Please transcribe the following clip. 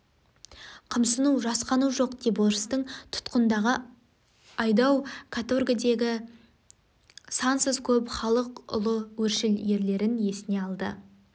қымсыну жасқану жоқ деп орыстың тұтқындағы айдау каторгідегі сансыз көп халық ұлы өршіл ерлерін есіне алды